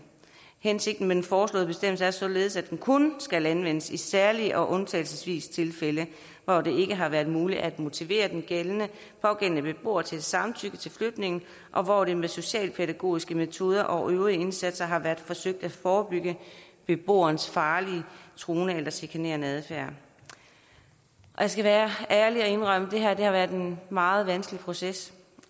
hensigten med den foreslåede bestemmelse er således at den kun skal anvendes i særlige og undtagelsesvise tilfælde hvor det ikke har været muligt at motivere den pågældende beboer til et samtykke til flytningen og hvor det med socialpædagogiske metoder og øvrige indsatser har været forsøgt at forebygge beboerens farlige truende eller chikanerende adfærd jeg skal være ærlig og indrømme at det her har været en meget vanskelig proces